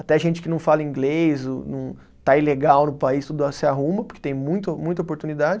Até gente que não fala inglês, ou não, está ilegal no país, tudo se arruma, porque tem muito, muita oportunidade.